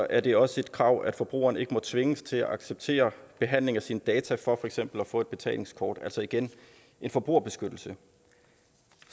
er det også et krav at forbrugeren ikke må tvinges til at acceptere behandling af sine data for for eksempel at få et betalingskort altså igen en forbrugerbeskyttelse